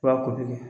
I b'a ko kɛ